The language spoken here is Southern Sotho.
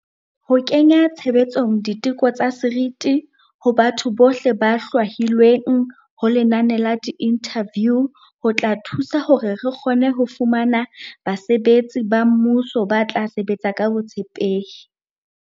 Ho kenya tshebetsong di teko tsa seriti ho batho bohle ba hlwahilweng ho lenane la diinthaviu ho tla thusa hore re kgone ho fumana basebetsi ba mmuso ba tla sebetsa ka botshepehi.